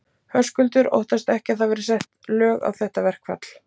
Höskuldur: Óttastu ekki að það verði sett lög á þetta verkfall?